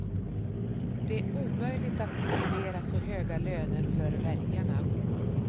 Det är omöjligt att motivera så höga löner för väljarna.